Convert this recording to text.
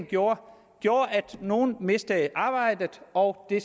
gjorde at nogle mistede arbejdet og det